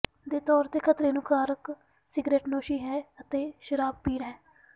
ਦੇ ਤੌਰ ਤੇ ਖਤਰੇ ਨੂੰ ਕਾਰਕ ਸਿਗਰਟਨੋਸ਼ੀ ਹੈ ਅਤੇ ਸ਼ਰਾਬ ਪੀਣ ਹੈ